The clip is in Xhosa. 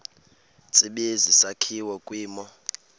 tsibizi sakhiwa kwimo